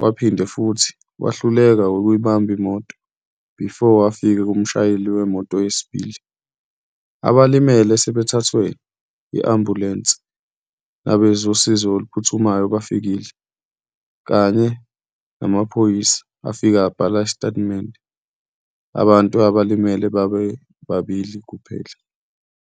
waphinde futhi wahluleka ukuyikubamba imoto before afike kumshayeli wemoto yesibili. Abalimele sebethathwe i-ambulensi nabezosizo oluphuthumayo bafikile, kanye namaphoyisa afike abhala isitatimende. Abantu abalimele babebabili kuphela.